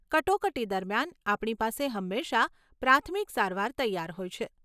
કટોકટી દરમિયાન, આપણી પાસે હંમેશા પ્રાથમિક સારવાર તૈયાર હોય છે.